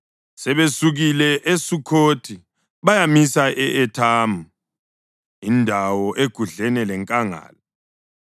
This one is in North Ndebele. Sebesukile eSukhothi bayamisa e-Ethamu indawo egudlene lenkangala.